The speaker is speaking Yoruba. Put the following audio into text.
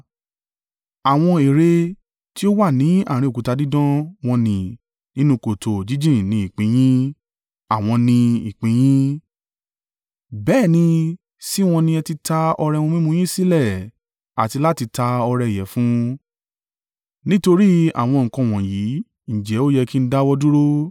Àwọn ère tí ó wà ní àárín òkúta dídán wọ́n n nì, nínú kòtò jíjìn ni ìpín in yín; àwọ̀n ni ìpín in yín. Bẹ́ẹ̀ ni, sí wọn ni ẹ ti ta ọrẹ ohun mímu yín sílẹ̀ àti láti ta ọrẹ ìyẹ̀fun. Nítorí àwọn nǹkan wọ̀nyí, ǹjẹ́ ó yẹ kí n dáwọ́ dúró?